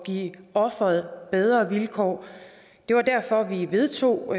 give offeret bedre vilkår det var derfor vi vedtog